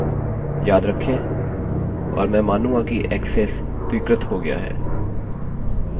और मैं मानूँगा कि ऐक्सेस स्वीकृत हो गया है